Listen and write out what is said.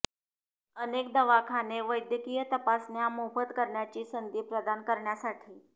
अनेक दवाखाने वैद्यकीय तपासण्या मोफत करण्याची संधी प्रदान करण्यासाठी